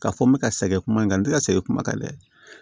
Ka fɔ n bɛ ka sɛgɛn kuma in kan n tɛ ka sɛgɛn kuman kan dɛ